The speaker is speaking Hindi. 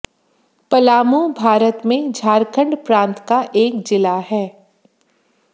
पलामू भारत में झारखंड प्रान्त का एक जिला है